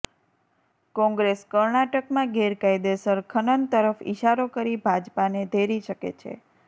કોંગ્રેસ કર્ણાટકમાં ગેરકાયદેસર ખનન તરફ ઈશારો કરી ભાજપાને ધેરી શકે છે